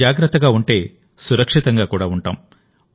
మనం జాగ్రత్తగా ఉంటేసురక్షితంగా కూడా ఉంటాం